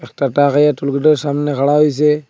একটা ট্রাক আইয়া একটা টুল গেটের সামনে খাড়া হইসে।